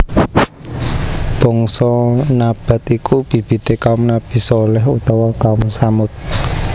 Bangsa Nabath iku bibite kaum Nabi Shaleh utawa Kaum Tsamud